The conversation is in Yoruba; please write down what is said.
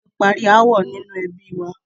Wọn tí parí ááwọ̀ inú ẹbi wa.